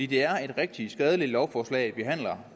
det er et rigtig skadeligt lovforslag vi behandler